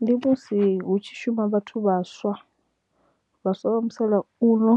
Ndi musi hu tshi shuma vhathu vhaswa, vhaswa vha musalauno